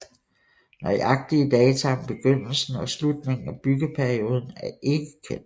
Nøjagtige data om begyndelsen og slutningen af byggeperioden er ikke kendt